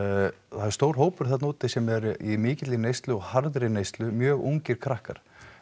er stór hópur þarna úti sem er í mikilli neyslu og harðri neyslu mjög ungir krakkar